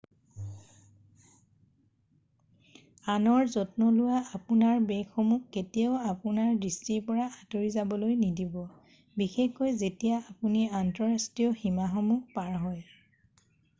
আনৰ যত্ন লোৱা - আপোনাৰ বেগসমূহক কেতিয়াও আপোনাৰ দৃষ্টিৰ পৰা আঁতৰি যাবলৈ নিদিব বিশেষকৈ যেতিয়া আপুনি আন্তঃৰাষ্ট্ৰীয় সীমাসমূহ পাৰ হয়৷